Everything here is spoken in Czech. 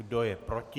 Kdo je proti?